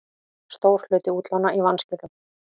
Stór hluti útlána í vanskilum